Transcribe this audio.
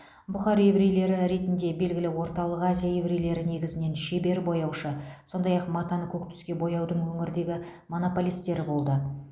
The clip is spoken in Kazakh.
бұхар еврейлері ретінде белгілі орталық азия еврейлері негізінен шебер бояушы сондай ақ матаны көк түске бояудың өңірдегі монополистері болды